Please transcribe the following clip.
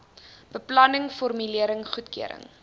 beplanning formulering goedkeuring